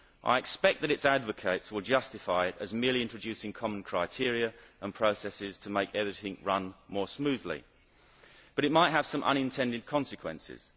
I expect that its advocates would justify it as merely introducing common criteria and processes to make everything run more smoothly. However, it might have some unintended consequences.